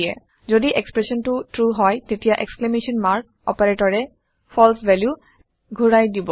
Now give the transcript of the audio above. যদি এক্সপ্ৰেচনটো ট্ৰু হয় তেতিয়া এক্সক্লেমেশ্যন মাৰ্ক অপাৰেটৰে ফালছে ভেলু ঘোৰাই দিব